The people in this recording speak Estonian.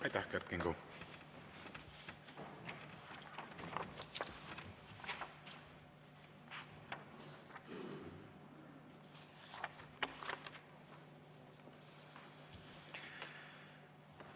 Aitäh, Kert Kingo!